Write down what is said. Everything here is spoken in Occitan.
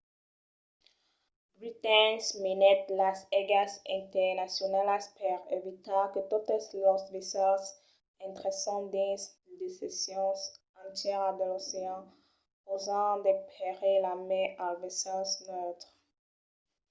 britain minèt las aigas internacionalas per evitar que totes los vaissèls intrèssen dins de seccions entièras de l’ocean causant de perilhs a mai als vaissèls neutres